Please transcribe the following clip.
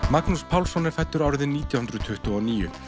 Magnús Pálsson er fæddur árið nítján hundruð tuttugu og níu